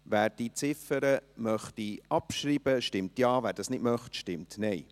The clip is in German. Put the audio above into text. Wer diese Ziffer abschreiben möchte, stimmt Ja, wer dies nicht möchte, stimmt Nein.